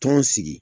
Tɔn sigi